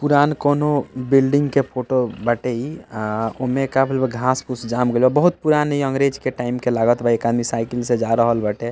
पुरान कउनो बिल्डिंग के फोटो बाटे इ आ ओमे का भइल बा घास-फूस जाम गइल बा बहुत पुरान इ अंग्रेज़ के टाइम के लागत बा एक आदमी साइकिल से जा रहल बाटे।